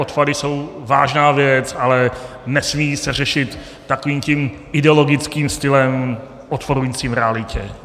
Odpady jsou vážná věc, ale nesmí se řešit takovým tím ideologickým stylem odporujícím realitě.